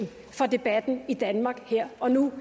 for debatten i danmark her og nu